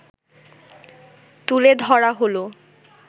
তুলে ধরা হলো